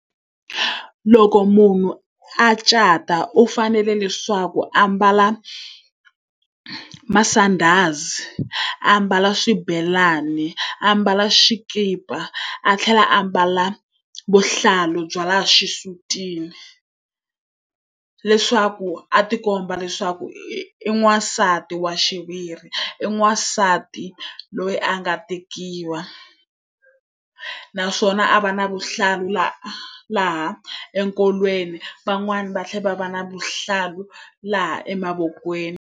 Loko munhu a cata u fanele leswaku a ambala masandhazi, a ambala xibelani, a ambala xikipa, a tlhela a ambala vuhlalu bya laha xisutini leswaku a tikomba leswaku i n'wansati wa xiviri, i n'wasati loyi a nga tekiwa. Naswona a va na vuhlalu laha enkolweni, van'wani va tlhela va va na vuhlalu laha emavokweni.